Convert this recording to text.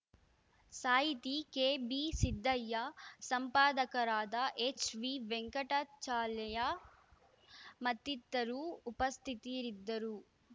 ಸಾಹಿತಿ ಕೆಬಿ ಸಿದ್ದಯ್ಯ ಸಂಪಾದಕರಾದ ಹೆಚ್ವಿ ವೆಂಕಟಾಚಲಯ್ಯ ಮತ್ತಿತರು ಉಪಸ್ಥಿತರಿದ್ದರು